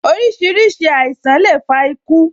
Orísìírísìí àìsàn le fa iku